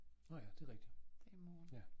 Nåh ja det rigtig ja